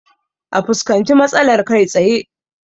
A fuskanci matsalar kai tsaye